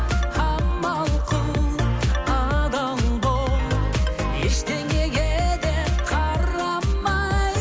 амал қыл адал бол ештеңеге де қарамай